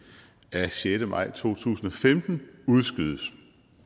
af sjette maj to tusind og femten udskydes